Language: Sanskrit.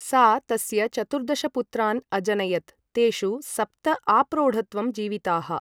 सा तस्य चतुर्दशपुत्रान् अजनयत्, तेषु सप्त आप्रौढत्वं जीविताः।